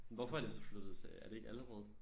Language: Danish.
Hvorfor er de så flyttet til er det ikke Allerød